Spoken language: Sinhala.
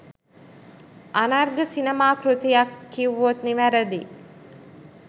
අනර්ඝ සිනමා කෘතියක් කිව්වොත් නිවැරදියි